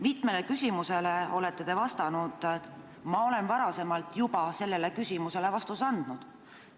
Mitmele küsimusele olete te vastanud, et te olete varem juba sellele küsimusele vastuse andnud.